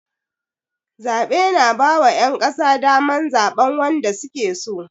Zaɓe na ba wa ƴan ƙasa daman zaɓan wanda suke so